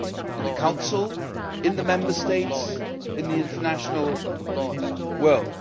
in the Council, in the Member States, in the international world.